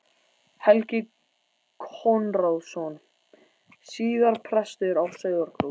Helgi Konráðsson, síðar prestur á Sauðárkróki.